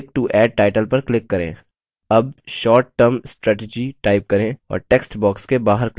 अब short term strategy type करें और text box के बाहर click करें